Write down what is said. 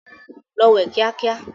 Lọ wẹ̀ kíá kíá!